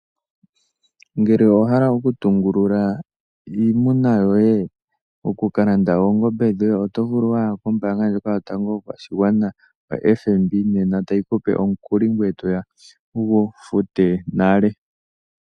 Ngele owahala okutungulula iimuna yoye, okukalanda oongombe dhoye, oto vulu waya kombaanga ndjoka yotango yopashigwana OFNB nena ta yi kupe omukuli, ngoye toya wu gu fute nale.